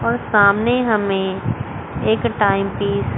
और सामने हमें एक टाइम टी --